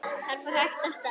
Hann fór hægt af stað.